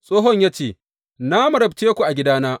Tsohon ya ce, Na marabce ku a gidana.